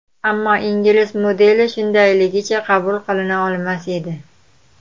Ammo ingliz modeli shundayligicha qabul qilina olmas edi.